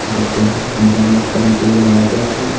जिसको यहां मुरम्मत करने के लिए लाया गया है।